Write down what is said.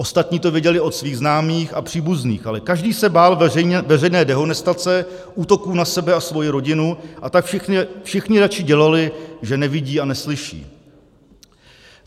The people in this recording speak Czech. Ostatní to věděli od svých známých a příbuzných, ale každý se bál veřejné dehonestace, útoků na sebe a svoji rodinu, a tak všichni raději dělali, že nevidí a neslyší.